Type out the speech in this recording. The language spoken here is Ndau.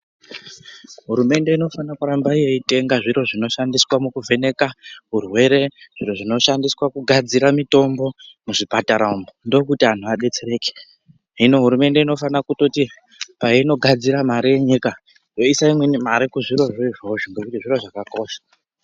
Hurumende inofana kuramba yeitenga zviro zvinoshandiswa mukuvheneka urwere, zviro zvinoshandiswa kugadzira mitombo muzvipatara umwu, ndokuti anhu adetsereke. Hino hurumende inofana kutoti payinogadzira mare yenyika, voisa mare imweni kuzvirozvo izvozvo ngekuti zviro zvakakosha.